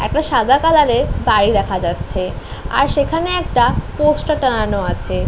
একটা সাদা কালারের বাড়ি দেখা যাচ্ছে । আর সেখানে একটা পোস্টার টাঙানো আছে।